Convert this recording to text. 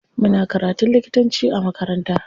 Muna karatun likitanci a makaranta.